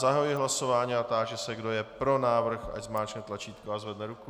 Zahajuji hlasování a táži se, kdo je pro návrh, ať zmáčkne tlačítko a zvedne ruku.